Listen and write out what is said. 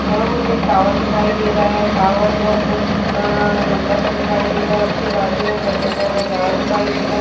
यहां मुझे टावर दिखाई दे रहा है। टावर बहोत अ लंबा सा दिखाई दे रहा है। उसके बाजु में एक अशोका का झाड दिखाई दे रहा है।